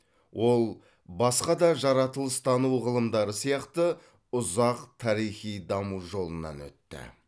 ол басқа да жаратылыстану ғылымдары сияқты ұзақ тарихи даму жолынан өтті